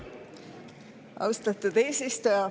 Austatud eesistuja!